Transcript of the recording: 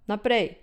Naprej!